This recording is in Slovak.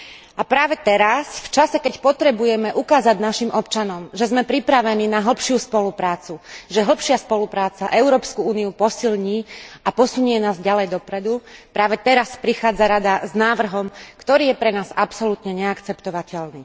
A práve teraz, v čase keď potrebujeme ukázať našim občanom, že sme pripravení na hlbšiu spoluprácu, že hlbšia spolupráca Európsku úniu posilní a posunie nás ďalej dopredu, práve teraz prichádza Rada s návrhom, ktorý je pre nás absolútne neakceptovateľný.